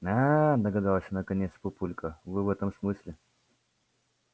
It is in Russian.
аа догадался наконец папулька вы в этом смысле